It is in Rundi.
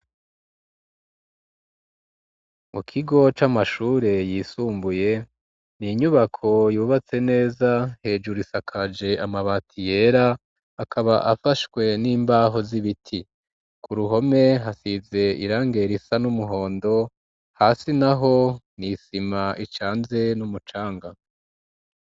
Mu kigo c'amashure yisumbuye n'inyubako yubatse neza hejuru isakaje amabati yera akaba afashwe n'imbaho z'ibiti ku ruhome hasize irangi risa n'umuhondo hasi naho n'isima icanze n'umucanga.